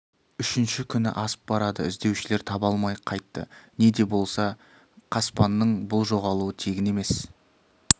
үшінші күні асып барады іздеушілер таба алмай қайтты не де болса қоспанның бұл жоғалуы тегін емес